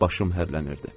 Başım hərlənirdi.